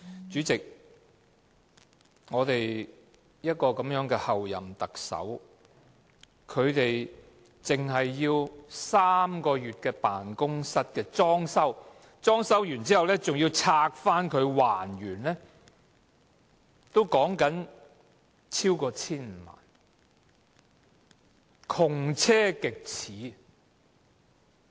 主席，我們的候任特首僅使用3個月的辦公室的裝修開支，以及裝修後拆卸還原的開支，竟可超過 1,500 萬元，窮奢極侈。